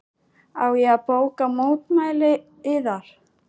Á ég að bóka mótmæli yðar?